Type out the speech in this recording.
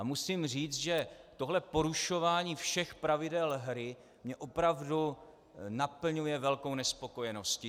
A musím říci, že tohle porušování všech pravidel hry mě opravdu naplňuje velkou nespokojeností.